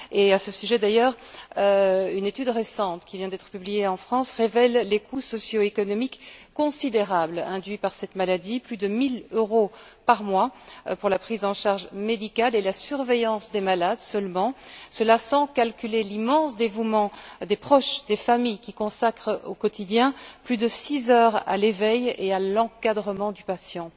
À ce sujet d'ailleurs, une étude récente, qui vient d'être publiée en France, révèle les coûts socio économiques considérables induits par cette maladie plus de mille euros par mois pour la prise en charge médicale et la surveillance des malades seulement, et cela sans calculer l'immense dévouement des proches, des familles qui consacrent, au quotidien, plus de six heures à l'éveil et à l'encadrement du patient.